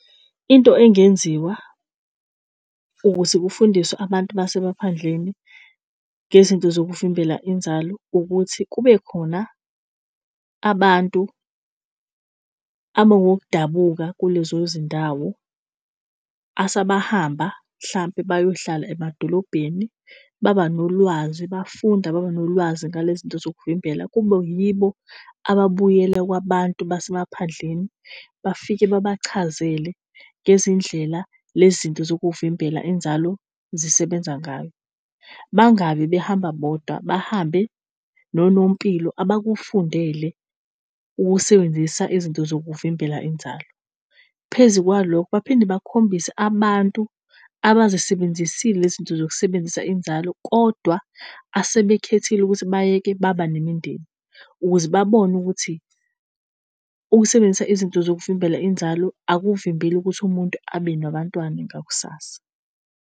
Into engenziwa ukuze kufundiswe abantu basemaphandleni ngezinto zokuvimbela inzalo ukuthi kube khona abantu abongokudabuka kulezo zindawo asebahamba mhlawumpe bayohlala emadolobheni baba nolwazi, bafunda, baba nolwazi nalezi zinto zokuvimbela. Kube yibo ababuyela kwabantu basemaphandleni bafike babachazele ngezindlela lezi zinto zokuvimbela inzalo zisebenza ngayo. Bangabi behamba bodwa bahambe nonompilo abakufundele ukusebenzisa izinto zokuvimbela inzalo. Phezu kwalokho, baphinde bakhombise abantu abazisebenzisile lezi zinto zokusebenzisa inzalo kodwa asebekhethile ukuthi bayeke baba nemindeni, ukuze babone ukuthi ukusebenzisa izinto zokuvimbela inzalo akuvimbeli ukuthi umuntu abe nabantwana ngakusasa.